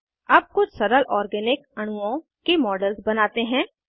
अब कुछ सरल ऑर्गेनिक अणुओं के मॉडल्स बनाते हैं